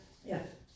Ja